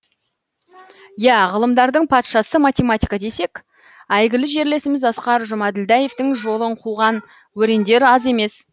иә ғылымдардың патшасы математика десек әйгілі жерлесіміз асқар жұмаділдаевтың жолын қуған өрендер аз емес